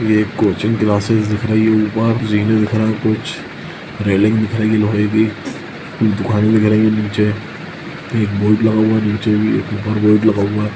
ये एक coaching classes दिख रही है ऊपर जीने दिख रहे है कुछ रेलिंग दिखाई गई लोहे की दुकाने दिख रही है नीचे एक बोर्ड लगा हुआ है नीचे भी एक ऊपर बोर्ड लगा हुआ --